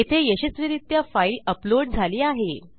येथे यशस्वीरित्या file upload झाली आहे